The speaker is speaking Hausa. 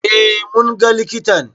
Eh, munga likitan